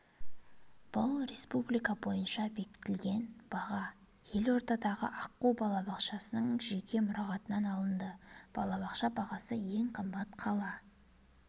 бұл республика бойынша бекітілген баға елордадағы аққу балабақшаның жеке мұрағатынан алынды балабақша бағасы ең қымбат қала